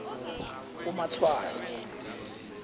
umatshwayo